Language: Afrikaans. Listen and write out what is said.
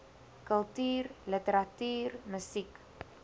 kultuur literatuur musiek